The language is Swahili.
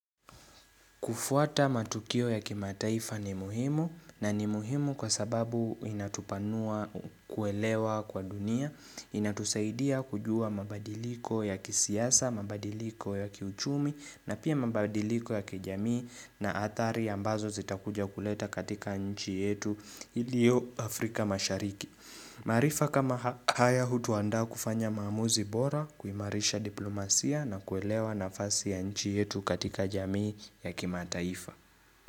Kufuata matukio ya kimataifa ni muhimu na ni muhimu kwa sababu inatupanua kuelewa kwa dunia, inatusaidia kujua mabadiliko ya kisiasa, mabadiliko ya kiuchumi na pia mabadiliko ya kijamii na hatari ambazo zitakuja kuleta katika nchi yetu iliyo Afrika mashariki. Maarifa kama haya hutuandaa kufanya maamuzi bora kuimarisha diplomasia na kuelewa nafasi ya nchi yetu katika jamii ya kimataifa.